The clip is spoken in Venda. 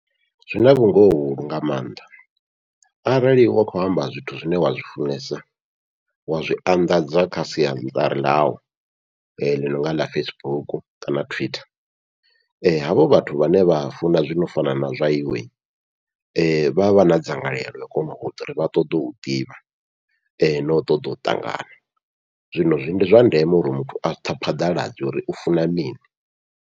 Zwina vhungoho vhuhulu nga maanḓa arali wa khou amba zwithu zwine wa zwifunesa wa zwi anḓadza kha siaṱari ḽau, ḽi nonga ḽa Facebook kana twitter havho vhathu vhane vha funa zwino fana na zwa iwe, vha vha na dzangalelo ḽo kona uita uri vha ṱoḓe u ḓivha nau ṱoḓa u ṱangana, zwino ndi zwa ndeme uri muthu a phaḓaladze uri u funa mini.